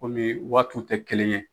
Komi waatiw tɛ kelen ye